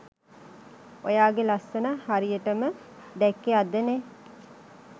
ඔයාගෙ ලස්‌සන හරියටම දැක්‌කේ අදනෙ